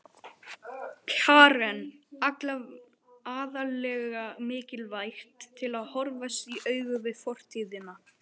Karen: Aðallega mikilvægt til að horfast í augu við fortíðina?